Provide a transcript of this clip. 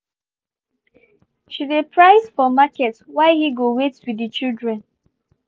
she dey price for market while he go wait with the children